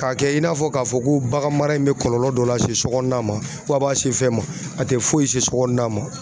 K'a kɛ i n'a fɔ k'a fɔ ko bagan mara in bɛ kɔlɔlɔ dɔ lase sokɔnɔna ma fo a b'a se fɛn ma a tɛ foyi se sokɔnɔna ma .